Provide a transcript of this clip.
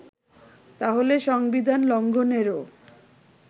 তাহলে সংবিধান লঙ্ঘনেরও